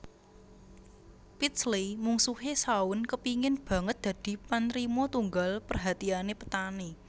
Pidsley Mungsuhe Shaun kepingin banget dadi panrima tunggal perhatiane Petani